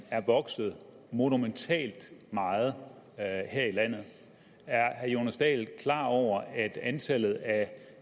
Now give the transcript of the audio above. er vokset monumentalt meget her i landet er herre jonas dahl klar over at antallet af